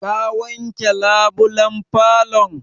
Ka wanke labulan falo?